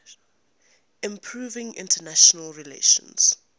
improving international relations